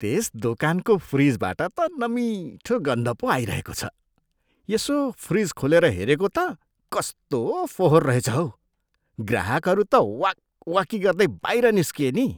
त्यस दोकानको फ्रिजबाट त नमिठो गन्ध पो आइरहेको रहेछ। यसो फ्रिज खोलेर हेरेको त, कस्तो फोहोर रहेछ हौ। ग्राहकहरू त वाकवाकी गर्दै बाहिर निस्किए नि!